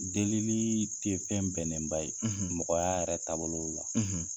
Delili te fɛn bɛnnen ba ye, , mɔgɔya yɛrɛ taabolow la.